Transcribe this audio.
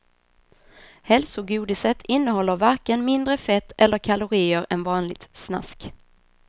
Hälsogodiset innehåller varken mindre fett eller kalorier än vanligt snask.